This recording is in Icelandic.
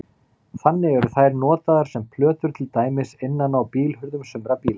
Þannig eru þær notaðar sem plötur til dæmis innan á bílhurðum sumra bíla.